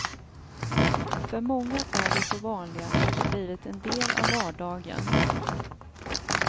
För många är de så vanliga att de blivit en del av vardagen.